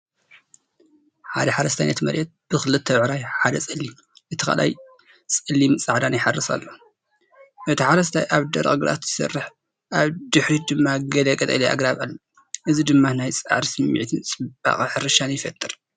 ሓደ ሓረስታይ ነቲ መሬት ብኽልተ ብዕራይ (ሓደ ጸሊም፡ እቲ ካልኣይ ጸሊምን ጻዕዳን) ይሓርስ ኣሎ። እቲ ሓረስታይ ኣብ ደረቕ ግራት ይሰርሕ፣ ኣብ ድሕሪት ድማ ገለ ቀጠልያ ኣግራብ ኣሎ። እዚ ድማ ናይ ጻዕሪ ስምዒትን ጽባቐ ሕርሻን ይፈጥር።